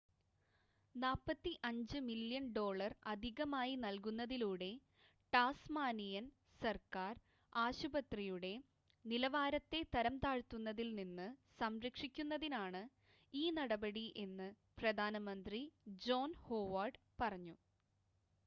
45 million dollar അധികമായി നൽകുന്നതിലൂടെ Tasmanian സർക്കാർ ആശുപത്രിയുടെ നിലവാരത്തെ തരംതാഴ്ത്തുന്നതിൽ നിന്ന് സംരക്ഷിക്കുന്നതിനാണ് ഈ നടപടി എന്ന് പ്രധാനമന്ത്രി ജോൺ ഹോവാർഡ് പറഞ്ഞു